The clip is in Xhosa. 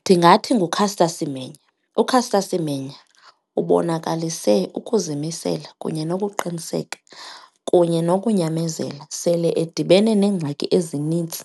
Ndingathi nguCaster Semenya. UCaster Semenya ubonakalise ukuzimisela kunye nokuqiniseka kunye nokunyamezela sele edibene neengxaki ezinintsi